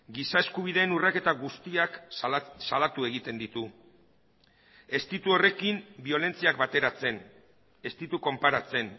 giza eskubideen urraketa guztiak salatu egiten ditu ez ditu horrekin biolentziak bateratzen ez ditu konparatzen